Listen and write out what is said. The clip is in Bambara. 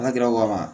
N'a kɛra wa